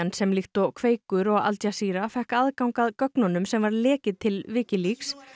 sem líkt og Kveikur og Al Jazeera fékk aðgang að gögnum sem var lekið til Wikileaks